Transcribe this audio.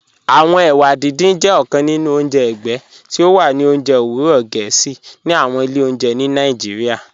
Awọn èwà dídìn jẹ ọ̀kàn nínu ọ̀njẹ ẹ̀gbẹ̀ tí o wà ní ọ̀njẹ̀ owurọ̀ Gẹẹsi ní àwọn ilẹ̀ ọ̀njẹ̀ ní Nàìjíríà.